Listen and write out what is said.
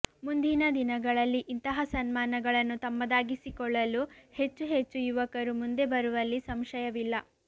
ಮುಂದಿನ ದಿನಗಳಲ್ಲಿ ಇಂತಹ ಸನ್ಮಾನಗಳನ್ನು ತಮ್ಮದಾಗಿಸಿಕೊಳ್ಳಲು ಹೆಚ್ಚು ಹೆಚ್ಚು ಯುವಕರು ಮುಂದೆ ಬರುವಲ್ಲಿ ಸಂಶಯವಿಲ್ಲ